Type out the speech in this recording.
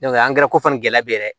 angɛrɛ ko fana gɛlɛya bɛ yɛrɛ